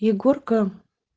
егорка